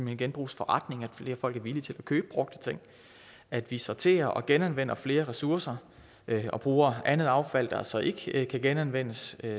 i genbrugsforretninger flere folk er villige til at købe brugte ting at vi sorterer og genanvender flere ressourcer og bruger andet affald der så ikke kan genanvendes